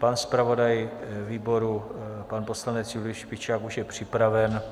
Pan zpravodaj výbor pan poslanec Julius Špičák už je připraven.